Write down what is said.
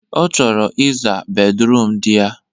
Ọ chọrọ ị zaa bedruum di ya.